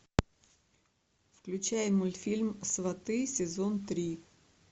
включай мультфильм сваты сезон три